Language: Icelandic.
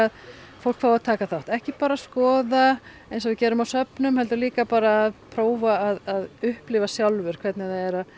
fólk fái að taka þátt ekki bara skoða eins og við gerum á söfnum heldur líka að prófa að upplifa sjálfur hvernig það er